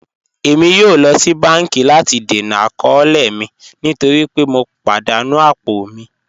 Ẹ̀mi yóò lọ sí bánkì láti dẹ̀nà àkọọ̀lẹ̀ mi nítorí pẹ̀ mọ̀ padà ní apọ̀ mi